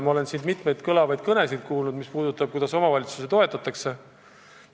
Oleme siin kuulnud mitut kõlavat kõnet sellest, kuidas omavalitsusi toetatakse.